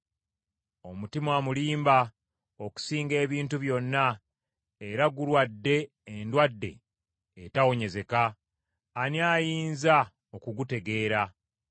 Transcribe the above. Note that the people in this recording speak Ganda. Omutima mulimba okusinga ebintu byonna, era gulwadde endwadde etawonyezeka. Ani ayinza okugutegeera?